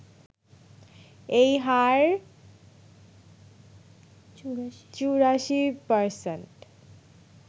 এই হার ৮৪%